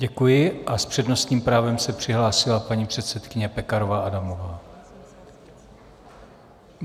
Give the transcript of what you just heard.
Děkuji a s přednostním právem se přihlásila paní předsedkyně Pekarová Adamová.